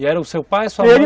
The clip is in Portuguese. E era o seu pai, sua mãe?